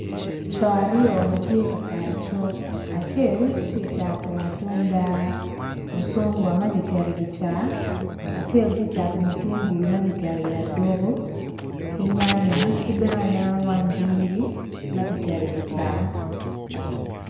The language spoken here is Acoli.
Co aryo ma tye ka cat icuk acel ti cato matunda mucungwa ma kiketo i ki ca acel ti cato mutungulu ma kiketo i aduku ki nyanya ki bene aneno wanyjiri ma kiketo i ki ca